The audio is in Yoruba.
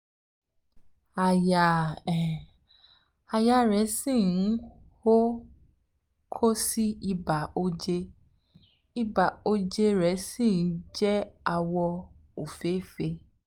àyà um rẹ̀ um ṣì um ń hó kò sí ibà oje ibà oje imú rẹ̀ sì jẹ́ àwọ̀ òféèfé